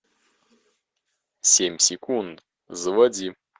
семь секунд заводи